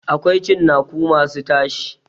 Akwai cinnaku masu tashi.